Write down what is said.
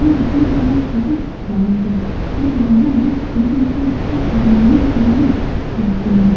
यह gym class बहुत ही बड़ा है और यहाँ लोग सारे अपने स्वास्थ्य बनाने के लिए आते हैं।